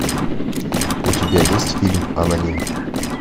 у тебя есть фильм аноним